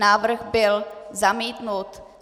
Návrh byl zamítnut.